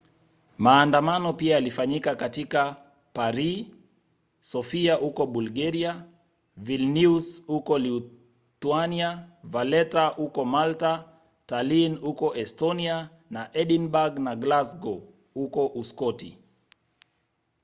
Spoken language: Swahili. maandamano pia yalifanyika katika paris sofia huko bulgaria vilnius huko lithuania valetta huko malta tallinn huko estonia na edinburgh na glasgow huko uskoti